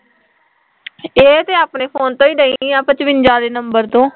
ਇਹ ਤਾਂ ਆਪਣੇ ਫ਼ੋਨ ਤੋਂ ਈ ਡਈ ਆ ਪਿਚਬਜਾ ਆਲੇ ਨੰਬਰ ਤੋਂ